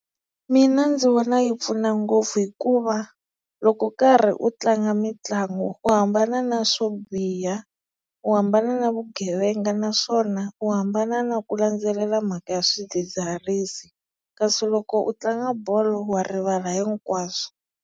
Mina ndzi vona yi pfuna ngopfu hikuva loko karhi u tlanga mitlangu u hambana na swo biha, u hambana na vugevenga naswona u hambana na ku landzelela mhaka ya swidzidziharisi kasi loko u tlanga bolo wa rivala hinkwaswo.